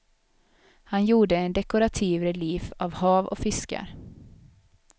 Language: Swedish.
Han gjorde en dekorativ relief av hav och fiskar.